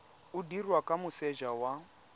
o dirwa kwa moseja wa